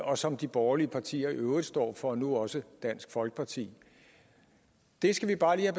og som de borgerlige partier i øvrigt står for nu også dansk folkeparti det skal vi bare lige